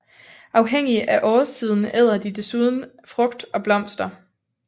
Afhængig af årstiden æder de desuden frugt og blomster